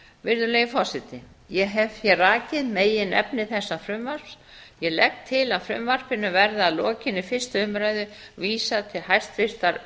virðulegi forseti ég hef hér rakið megin efni þessa frumvarps ég legg til að frumvarpinu verði að lokinni fyrstu umræðu vísað til hæstvirtrar